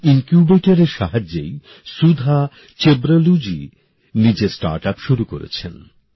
এই ইনকিউবেটরএর সাহায্যেই সুধা চেব্রলুজী নিজের স্টার্ট আপ শুরু করেছেন